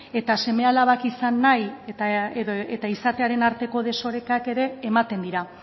eta seme alabak izan nahi eta izatearen arteko desorekak ere ematen dira